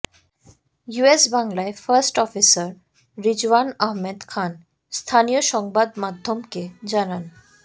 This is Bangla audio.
ইউএস বাংলার ফার্স্ট অফিসার রিজওয়ান আহমেদ খান স্থানীয় সংবাদমাধ্যমকে জানান